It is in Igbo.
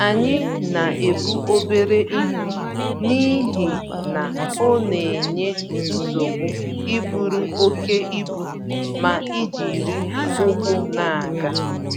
Anyị na-ebu obere ihe n'ihi na onenye nsogbu iburu oké ibu, ma ijiri ụkwụ n'aga